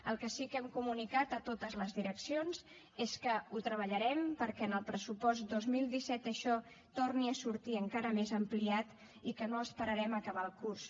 el que sí que hem comunicat a totes les direccions és que ho treballarem perquè en el pressupost dos mil disset això torni a sortir encara més ampliat i que no esperarem a acabar el curs